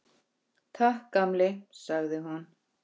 Ólafur læknir sat fram í.